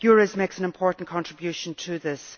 EURES makes an important contribution to this.